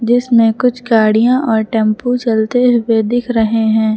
जिसमें कुछ गाड़ियां और टेंपू चलते हुए दिख रहे हैं।